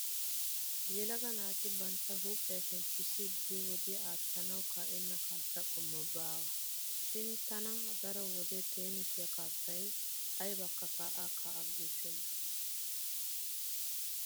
Yelaga naati bantta huuphiya shemppissiiddi wodiya aattanawu kaa'enna kaassa qommoy baawa. Shin tana daro wode teenise kaassay aybakka kaa'a kaa'a giissenna.